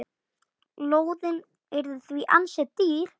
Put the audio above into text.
Lóðin yrði því ansi dýr.